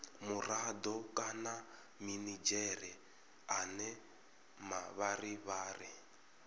murado kana minidzhere ane mavharivhari